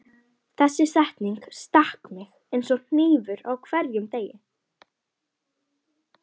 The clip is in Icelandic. Þessi setning stakk mig eins og hnífur á hverjum degi.